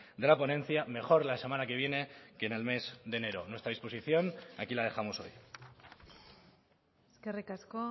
de la ponencia mejor la semana que viene que en el mes de enero nuestra disposición aquí la dejamos hoy eskerrik asko